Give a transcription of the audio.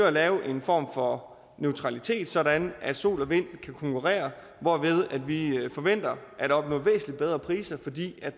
at lave en form for neutralitet sådan at sol og vind kan konkurrere hvorved vi forventer at opnå væsentlig bedre priser fordi